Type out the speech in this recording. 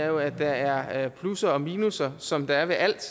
jo at der er plusser og minusser som der er ved alt